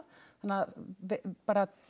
bara